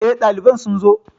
Eh, ɗaliban sun zo